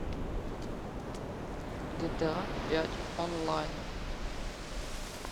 гта пять онлайн